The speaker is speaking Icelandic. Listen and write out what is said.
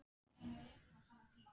Það er best að taka þig upp.